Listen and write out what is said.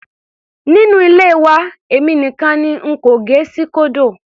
Nínú ilé wa èmi nìkan n kò gẹ síkódò.